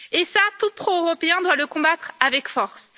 Cela, tout pro européen doit le combattre avec force.